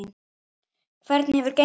Hvernig hefur gengið?